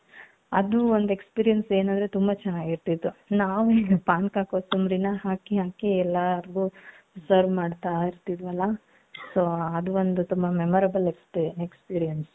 ಅದೂ ಒಂದ್ experience ಏನೂ ಅಂದ್ರೆ ತುಂಬಾ ಚೆನ್ನಾಗಿರ್ತಿತ್ತು ನಾವು ಪಾನಕ ಕೊಸಂಬರಿನ ಹಾಕಿ ಹಾಕಿ ಎಲ್ಲಾರ್ಗೂ serve ಮಾಡ್ತಾ ಇರ್ತಿದ್ವಲ್ಲ so ಅದು ಒಂದು memorable experience.